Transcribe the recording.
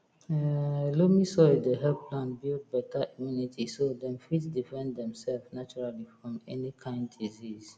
um loamy soil dey help plant build beta immunity so dem fit defend dem self naturally from any kain disease